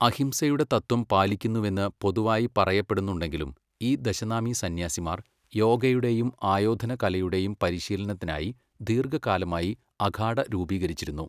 അഹിംസയുടെ തത്ത്വം പാലിക്കുന്നുവെന്ന് പൊതുവായി പറയപ്പെടുന്നുണ്ടെങ്കിലും ഈ ദശനാമി സന്യാസിമാർ യോഗയുടെയും ആയോധനകലയുടെയും പരിശീലനത്തിനായി ദീർഘകാലമായി അഖാഡ രൂപീകരിച്ചിരുന്നു.